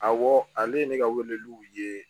Awɔ ale ye ne ka weleliw ye